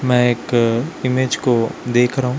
मैं एक इमेज को देख रहा हूं।